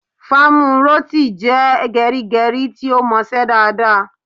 Famuroti jẹ́ gerigeri tí ó mọ ṣe dáadáa